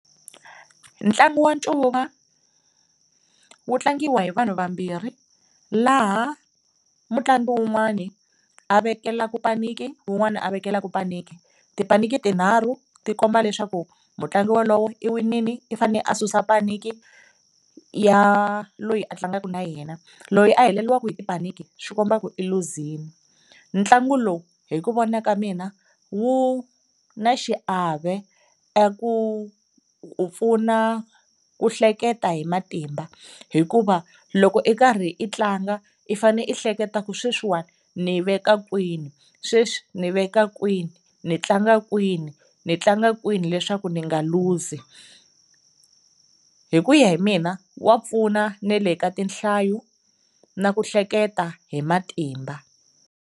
Ntlangu wa ncuva wu tlangiwa hi vanhu vambirhi laha mutlangi wun'wana a vekelaka paniki wun'wana a vekelaka paniki, tipaniki tinharhu ti komba leswaku mutlangi wolowo i winile i fane a susa paniki ya loyi a tlangaka na yena loyi a heleriwaka hi tipaniki swi komba ku i luzile. Ntlangu lowu hi ku vona ka mina wu na xiave eku pfuna ku hleketa hi matimba hikuva loko i karhi i tlanga i fane i hleketa ku sweswiwani ni veka kwini, sweswi ni veka kwini, ni tlanga kwini, ni tlanga kwini leswaku ni nga luzi. Hi ku ya hi mina wa pfuna na le ka tinhlayo na ku hleketa hi matimba.